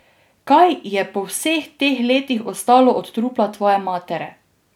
Kaj je po vseh teh letih ostalo od trupla tvoje matere?